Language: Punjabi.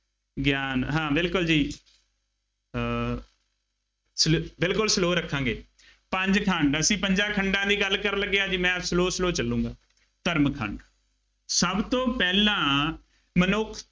ਗਿਆਨ ਹਾਂ ਬਿਲਕੁੱਲ ਜੀ, ਅਹ slow ਬਿਲਕੁੱਲ slow ਰੱਖਾਂਗੇ, ਪੰਜ ਖੰਡ, ਅਸੀਂ ਪੰਜਾਂ ਖੰਡਾਂ ਦੀ ਗੱਲ ਕਰਨ ਲੱਗੇ ਹਾਂ ਜੀ, ਮੈਂ slow slow ਚੱਲੂਗਾਂ, ਧਰਮ ਖੰਡ, ਸਭ ਤੋਂ ਪਹਿਲਾਂ ਮਨੁੱਖ